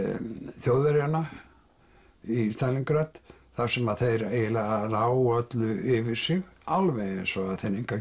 Þjóðverjanna í Stalíngrad þar sem þeir eiginlega ná öllu yfir sig alveg eins og